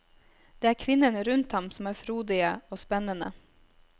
Det er kvinnene rundt ham som er frodige og spennende.